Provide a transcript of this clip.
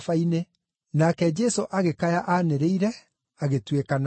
Nake Jesũ agĩkaya aanĩrĩire, agĩtuĩkana.